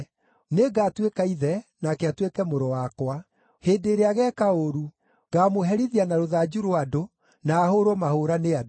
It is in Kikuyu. Nĩngatuĩka ithe, nake atuĩke mũrũ wakwa. Hĩndĩ ĩrĩa ageeka ũũru, ngaamũherithia na rũthanju rwa andũ, na ahũũrwo mahũũra nĩ andũ.